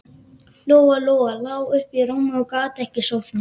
Lóa-Lóa lá uppi í rúmi og gat ekki sofnað.